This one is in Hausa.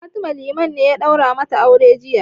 Fatima, Liman ne ya ɗaura mata aure jiya.